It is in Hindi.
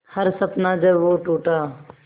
हर सपना जब वो टूटा